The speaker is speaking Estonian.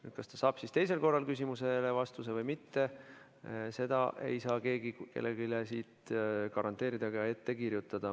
Seda, kas teisel korral saadakse küsimusele vastus või mitte, ei saa keegi kellelegi garanteerida ega ette kirjutada.